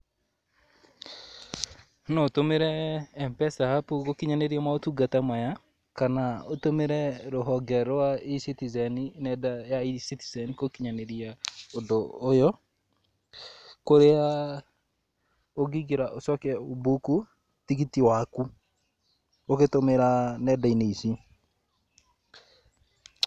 No ũtũmire M-Pesa app gũkinyaniria maũtungata maya, kana ũtũmire rũhonge rwa E-Citizen nenda ya E-Citizen gũkinyaniria ũndũ ũyũ. Kũrĩa ũngĩingĩra ũcoke ũmbuku tigiti waku ũgĩtũmĩra nenda-inĩ ici.